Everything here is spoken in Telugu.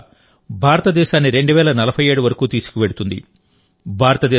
నేటి యువత భారతదేశాన్ని 2047 వరకు తీసుకువెళ్తుంది